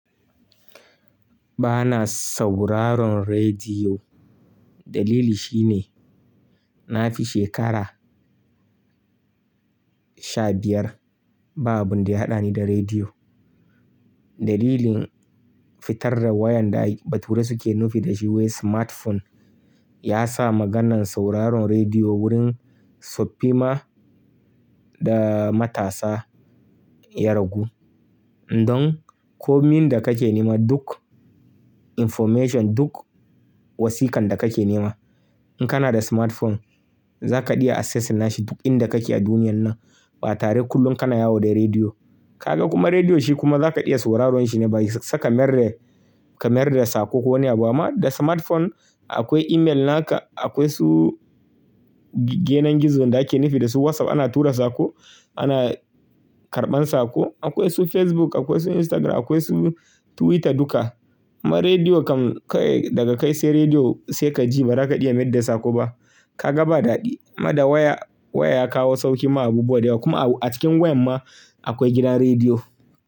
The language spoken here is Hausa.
Ba na sauraron rediyo. Dalili shine, na fi shekara sha biyar ba abun da ya haɗa ni da rediyo. Dalilin fitar da wayan da a bature suke nufi da shi wai smartphone ya sa maganan sauraron rediyo wurin tsoffi ma da matasa ya ragu. Indon komin da kake nema duk information, duk wasiƙan da kake nema, in kana da smartphone za kaɗiya access nashi duk inda kake a duniyan nan ba tare kullum kana yawo da rediyo. Ka ga kuma rediyo shi kuma za kaɗiya sauraron shi ne ba yi saka kamar kamar da sako ko wani abu ba. Amma da smartphone akwai email naka, akwai su ginan gizo da ake nufi da su WhatsApp ana tura sako, ana karɓan sako. Akwai su Facebook, akwai su Instagram, akwai su Twitter duka. Ma rediyo kam kawai daga kai sai rediyo sai ka ji ba za ka iya mayar da sako ba. Ka ga ba daɗi. Amma da waya, waya ya kawo sauƙi ma abubuwa da yawa kuma a cikin wayan ma akwai gidan rediyo.